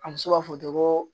A muso b'a fɔ ten ko